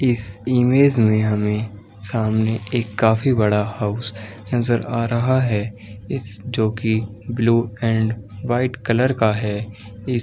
इस इमेज में हमे एक काफ़ी बड़ा हाउस नजर आ रहा हैं इस जोकि ब्लू एंड वाइट कलर का हैं इस --.